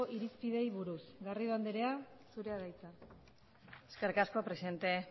irizpideei buruz garrido andrea zurea da hitza eskerrik asko presidente